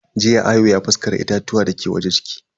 Jiya Ayo ya faskara itatuwan dake waje ciki.